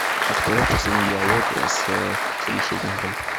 открой последний диалог с собеседником